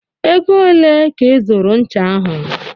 Ego ole ka ị zụrụ ncha ahy?